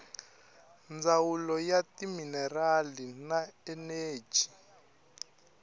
ndzawulo ya timinerali na eneji